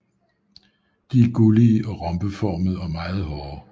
De er gullige og rombeformede og meget hårde